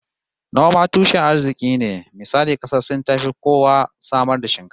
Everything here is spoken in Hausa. Noma tushen arziki ne, misali kasar Sin tafi kowa samar da shinkafa